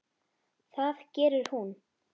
Það gerir hún.